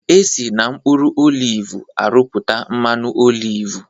Esi n'mkpuru olivu arụpụta mmanụ olivu